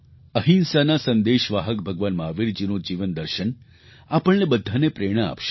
અહિંસાના સંદેશવાહક ભગવાન મહાવીરજીનું જીવન દર્શન આપણને બધાને પ્રેરણા આપશે